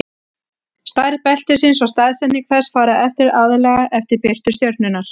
stærð beltisins og staðsetning þess fara eftir aðallega eftir birtu stjörnunnar